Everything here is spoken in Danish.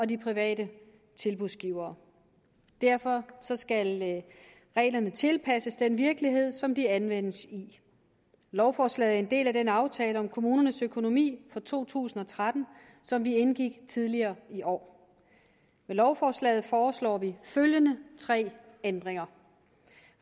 de private tilbudsgivere derfor skal reglerne tilpasses den virkelighed som de anvendes i lovforslaget er en del af den aftale om kommunernes økonomi for to tusind og tretten som vi indgik tidligere i år med lovforslaget foreslår vi følgende tre ændringer